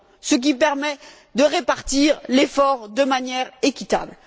ce qui permet de répartir l'effort de manière équitable.